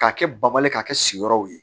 K'a kɛ bawale k'a kɛ sigiyɔrɔw ye